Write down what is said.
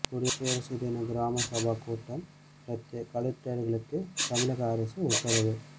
குடியரசு தின கிராம சபா கூட்டம் ரத்து கலெக்டர்களுக்கு தமிழக அரசு உத்தரவு